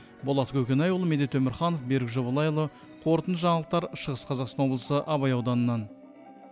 болат көкенайұлы медет өмірханов берік жобалайұлы қорытынды жаңалықтар шығыс қазақстан облысы абай ауданынан